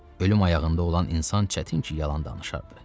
Ölüm ayağında olan insan çətin ki, yalan danışardı.